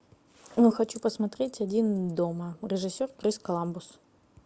ну хочу посмотреть один дома режиссер крис коламбус